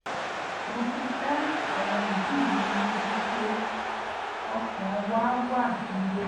mo fi dá àwọn òbí mi lójú pé ọkàn wa wá níbẹ̀